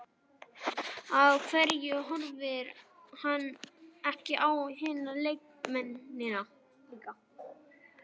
Af hverju horfði hann ekki á hina leikmennina líka?